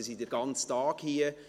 Sie sind den ganzen Tag hier.